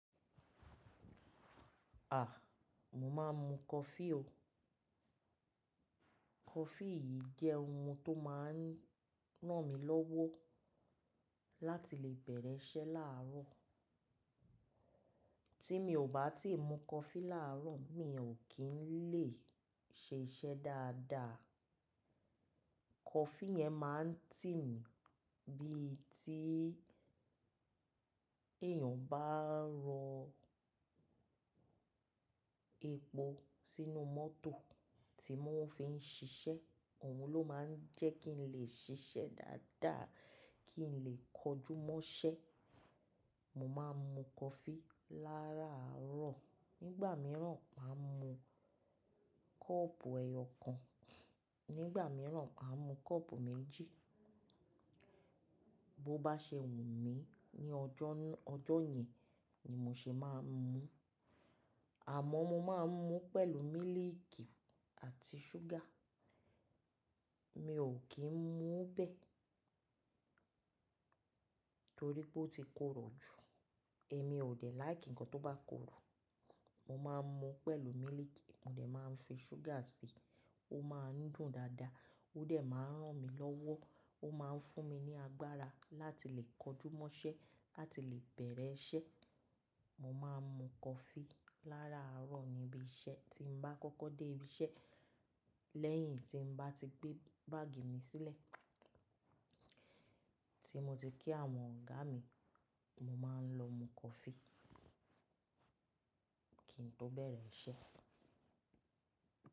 À, mo máa ń mu coffee o. Coffee yìí jẹ́ ohun tó máa ń ràn mí lọ́wọ́ láti lè bẹ̀rẹ̀ iṣẹ́ láàárọ̀. Tí mi ò bá ti mu coffee láàárọ̀, mi ò kí ń lè ṣe iṣẹ́ dáadáa. Coffee yẹn máa ń tì mí bí tí èèyàn bá ń ro epo sínú mọ́tò tí wọ́n fi ń ṣiṣẹ́. Òun ló máa ń jẹ́ kí n lè ṣiṣẹ́ dáadáa, kí n lè kojúmọ́ṣẹ́. Mo máa ń mu coffee láràárọ̀. Nígbà mìíràn, màá mu kọ́ọ̀pù ẹyọ kan, nígbà mìíràn, màá mu kọ́ọ̀pù méjì. Bo bá ṣe wù mí ní ọjọ́ náà, ọjọ́ yẹn ni mo ṣe máa ń mu. Àmọ́ mo máa ń mu pẹ̀lú mílíìkì àti ṣúgà. Mi ò kí ń mu bẹ̀ẹ́ torí pé ó ti korò jù. Èmi ò dẹ̀ like ǹkan tó bá korò. Mo máa ń mu pẹ̀lú mílíìkì, mo dẹ̀ máa ń fi ṣúgà si, ó máa ń dùn dáadáa, ó dẹ̀ máa ń ràn mí lọ́wọ́, ó máa ń fún mi ní agbára láti lè kojúmọ́ṣẹ́, láti lè bẹ̀rẹ̀ iṣẹ́. Mo máa ń mu coffee láràárọ̀ níbi iṣẹ́. Tí mo bá kọ́kọ́ dé ibi iṣẹ́ lẹ́yìn tí mo bá ti gbé báàgì mi sílẹ̀, tí mo ti kí àwọn ọ̀gá mi, mo máa ń lọ mu coffee kí n tó bẹ̀rẹ̀ iṣẹ́.